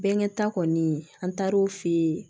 Bɛnkɛ ta kɔni an taar'o fɛ yen